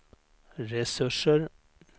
resurser